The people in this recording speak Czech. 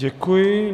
Děkuji.